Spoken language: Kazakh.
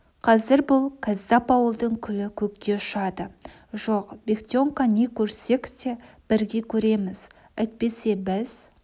қазір бұл кәззап ауылдың күлі көкке ұшады жоқ бектенка не көрсек те бірге көреміз әйтпесе біз